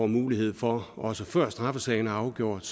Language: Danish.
mulighed for også før straffesagen er afgjort